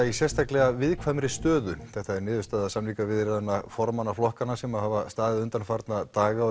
í sérstaklega viðkvæmri stöðu þetta er niðurstaða samningaviðræðna formanna flokkanna sem hafa staðið undanfarna daga